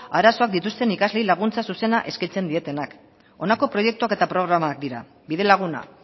arazoak dituzten ikasleei laguntza zuzena eskaintzen dietenak honako proiektuak eta programak dira bidelaguna